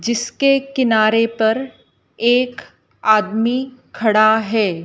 जिसके किनारे पर एक आदमी खड़ा है।